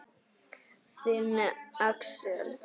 Þinn, Axel.